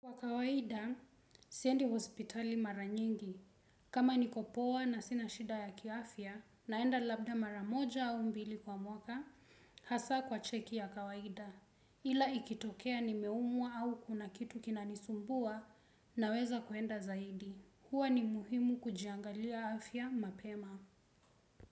Kwa kawaida, siendi hospitali mara nyingi. Kama nikopoa na sina shida ya kiafya, naenda labda mara moja au mbili kwa mwaka, hasa kwa cheki ya kawaida. Ila ikitokea ni meumwa au kuna kitu kinanisumbua na weza kuenda zaidi. Huwa ni muhimu kujiangalia afya mapema.